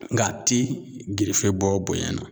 Ng'a ti gerefe bɔ bonya na